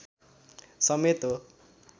समेत हो